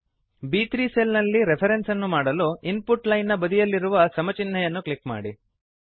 ಬ್3 cell ನಲ್ಲಿ reference ಅನ್ನು ಮಾಡಲು ಇನ್ ಪುಟ್ ಲೈನ್ ನ ಬದಿಯಲ್ಲಿರುವ ಸಮ ಚಿನ್ಹೆಯನ್ನು ಕ್ಲಿಕ್ ಮಾಡಿ